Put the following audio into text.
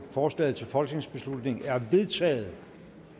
forslaget til folketingsbeslutning er vedtaget